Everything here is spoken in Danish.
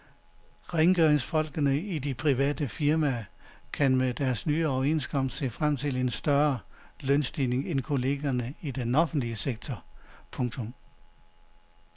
Rengøringsfolkene i de private firmaer kan med deres nye overenskomst se frem til en større lønstigning end kollegerne i den offentlige sektor. punktum